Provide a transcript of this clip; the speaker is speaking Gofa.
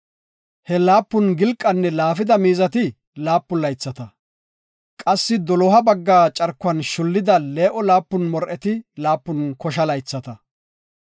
He laapun gilqanne laafida miizati laapun laythata, qassi doloha bagga carkuwan shullida, lee7o laapun mor7eti laapun kosha laythata.